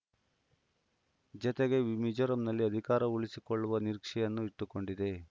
ಜತೆಗೆ ವೀ ಮೀಜೋರಂನಲ್ಲಿ ಅಧಿಕಾರ ಉಳಿಸಿಕೊಳ್ಳುವ ನಿರೀಕ್ಷೆಯನ್ನು ಇಟ್ಟುಕೊಂಡಿದೆ